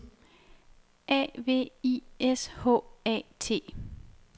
A V I S H A T